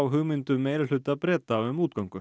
hugmyndum meirihluta Breta um útgöngu